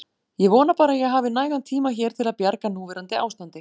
Ég vona bara að ég hafi nægan tíma hér til að bjarga núverandi ástandi.